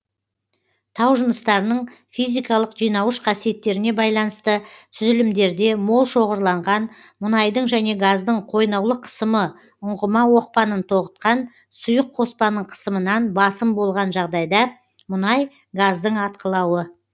тау жыныстарының физикалық жинауыш қасиеттеріне байланысты түзілімдерде мол шоғырланған мұнайдың және газдың қойнаулық қысымы ұңғыма оқпанын тоғытқан сұйық қоспаның қысымынан басым болған жағдайда мұнай газдың атқылауы